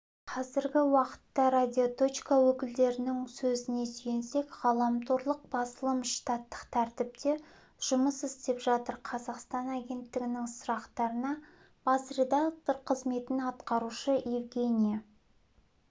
қазіргі уақытта радиоточка өкілдерінің сөзіне сүйенсек ғаламторлық басылым штаттық тәртіпте жұмыс істеп жатыр қазақстан агенттігінің сұрақтарына бас редактор қызметін атқарушы евгения